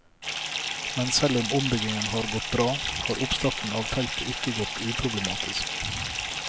Men selv om ombyggingen har gått bra, har oppstarten av feltet ikke gått uproblematisk.